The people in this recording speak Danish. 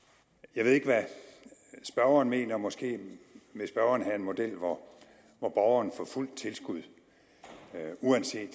jeg ved ikke hvad spørgeren mener måske vil spørgeren have en model hvor hvor borgeren får fuldt tilskud uanset